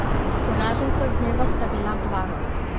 Poraženca dneva sta bila dva.